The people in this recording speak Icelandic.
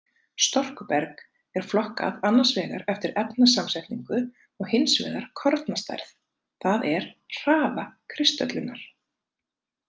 Storkuberg er flokkað annars vegar eftir efnasamsetningu og hins vegar kornastærð, það er hraða kristöllunar.